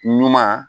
Ɲuman